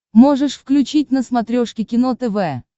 можешь включить на смотрешке кино тв